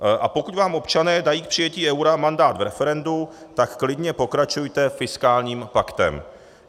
A pokud vám občané dají k přijetí eura mandát v referendu, tak klidně pokračujte fiskálním paktem.